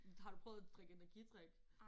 Men har du prøvet at drikke energidrik?